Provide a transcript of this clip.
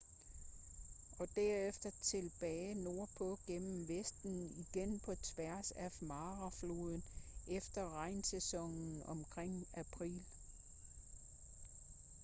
og derefter tilbage nordpå gennem vesten igen på tværs af mara-floden efter regnsæsonen omkring april